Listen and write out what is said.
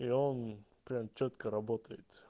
и он прям чётко работает